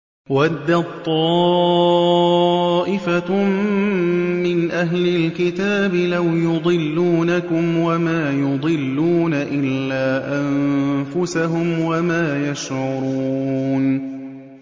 وَدَّت طَّائِفَةٌ مِّنْ أَهْلِ الْكِتَابِ لَوْ يُضِلُّونَكُمْ وَمَا يُضِلُّونَ إِلَّا أَنفُسَهُمْ وَمَا يَشْعُرُونَ